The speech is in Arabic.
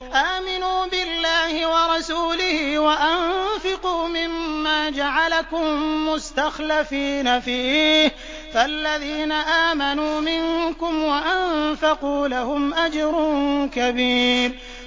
آمِنُوا بِاللَّهِ وَرَسُولِهِ وَأَنفِقُوا مِمَّا جَعَلَكُم مُّسْتَخْلَفِينَ فِيهِ ۖ فَالَّذِينَ آمَنُوا مِنكُمْ وَأَنفَقُوا لَهُمْ أَجْرٌ كَبِيرٌ